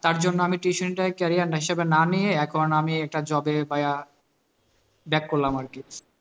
তার জন্য আমি tuition টাই career হিসাবে না নিয়ে এখন আমি একটা job এ পাইয়া back করলাম আরকি